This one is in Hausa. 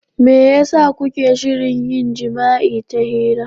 Me yasa kuke shirin yin jima'i ta hira?